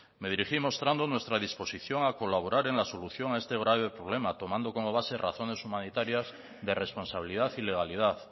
me dirigí mostrando nuestra disposición a colaborar en la solución a este grave problema tomando como base razones humanitarias de responsabilidad y legalidad